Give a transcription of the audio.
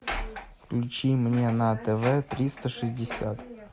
включи мне на тв триста шестьдесят